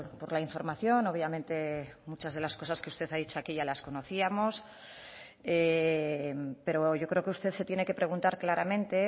por la información obviamente muchas de las cosas que usted ha dicho aquí ya las conocíamos pero yo creo que usted se tiene que preguntar claramente